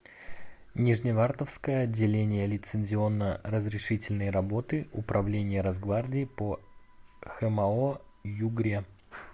нижневартовское отделение лицензионно разрешительной работы управления росгвардии по хмао югре